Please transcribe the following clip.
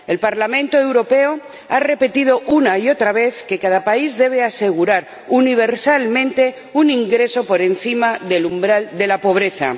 El Parlamento Europeo ha repetido una y otra vez que cada país debe asegurar universalmente un ingreso por encima del umbral de la pobreza.